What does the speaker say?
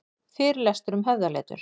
Fyrirlestur um höfðaletur